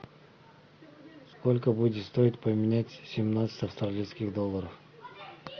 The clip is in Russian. сколько будет стоить поменять семнадцать австралийских долларов